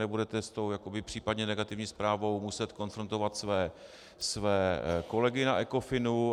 Nebudete s tou případně negativní zprávou muset konfrontovat své kolegy na ECOFINu.